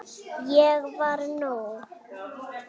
Ég var nóg.